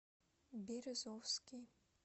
березовский